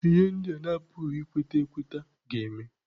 ihe ndị a na-apụghị ikweta ekweta ga-eme.